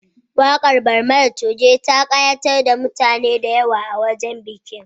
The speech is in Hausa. Waƙar Barmani Coge ta ƙayatar da mutane da yawa a wajen bikin